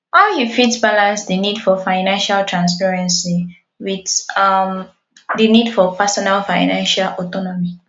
how you fit balance di need for financial transparency with um di need for personal financial autonomy